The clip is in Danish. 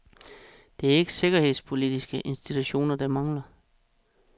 Det er ikke sikkerhedspolitiske institutioner, der mangler.